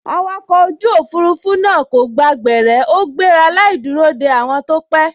Awakọ̀ ojú òfurufú náà kò gba gbẹ̀rẹ́ ó gbéra láì dúró de àwọn tó pẹ́